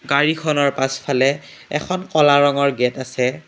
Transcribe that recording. গাড়ীখনৰ পাছফালে এখন ক'লা ৰঙৰ গেট আছে।